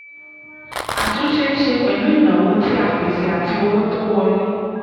àtúnṣe ṣe pẹ̀lú ìnáwó tí a pèsè àti owó tó wọlé.